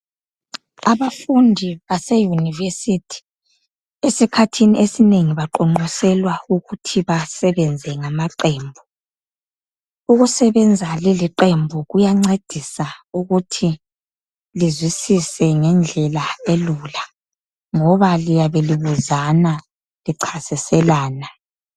Abafundi baseYunivesithi esikhathini esinengi baqonqoselwa ukuthi basebenze ngamaqembu ukusebenza liliqembu kuyancedisa ukuthi lizwisise ngendlela elula ngoba liyabe libuzana lichasiselana.